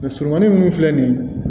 Mɛ surumannin ninnu filɛ nin ye